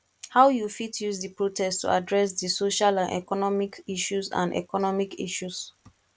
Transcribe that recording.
how you fit use di protest to address di social and economic issues and economic issues